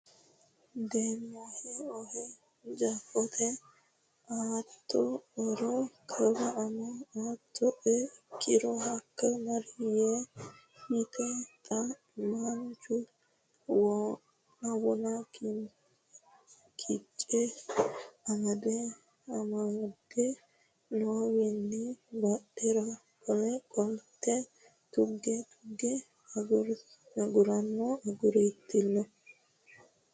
Dieemmahe ohe Jeefote Aatta oero kawa amo Aattae kkiro hakka mari yee yite xa maanchu wona Kice amade amadde noowiinni badhera qole qolte tuge tugge aguranno agurtanno.